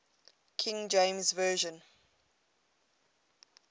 king james version